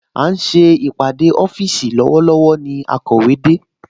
À ń ṣe ìpàdé ọ́fíìsì lọ́wọ́lọ́wọ́ ni akọ̀wé de